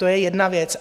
To je jedna věc